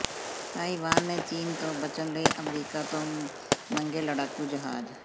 Taiwan ਨੇ ਚੀਨ ਤੋਂ ਬਚਣ ਲਈ ਅਮਰੀਕਾ ਤੋਂ ਮੰਗੇ ਲੜਾਕੂ ਜਹਾਜ਼